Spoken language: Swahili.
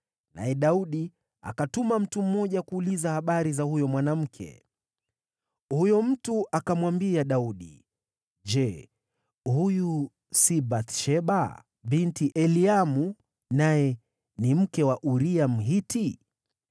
naye Daudi akatuma mtu mmoja kuuliza habari za huyo mwanamke. Huyo mtu akamwambia Daudi, “Je, huyu si Bathsheba binti Eliamu, naye ni mke wa Uria, Mhiti?”